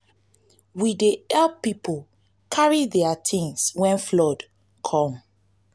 we dey help pipo carry their tins wen flood come